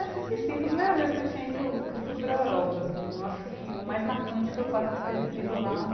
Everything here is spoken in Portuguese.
Acho que sim, foi a primeira vez que eu tinha ido que eu fui para a Europa assim, eu acho que o mais marcante foi o fato de ter vivido lá um